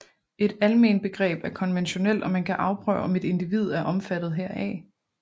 Et almenbegreb er konventionelt og man kan afprøve om et individ er omfattet heraf